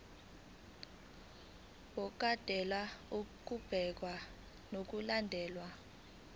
wokondla ubekwa ngokulandlela